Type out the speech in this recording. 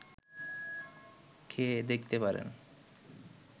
খেয়ে দেখতে পারেন